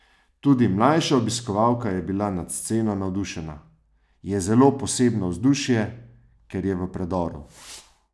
Tudi mlajša obiskovalka je bila nad sceno navdušena: "Je zelo posebno vzdušje, ker je v predoru.